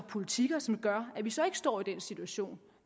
politik som gør at vi så ikke står i den situation